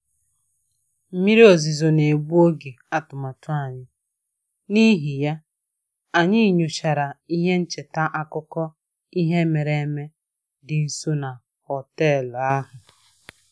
Mmiri ozuzo na-egbu oge atụmatụ anyị, n'ihi ya, anyị nyochara ihe ncheta akụkọ ihe mere eme dị nso na họtel ahụ